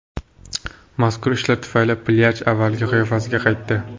Mazkur ishlar tufayli plyaj avvalgi qiyofasiga qaytdi.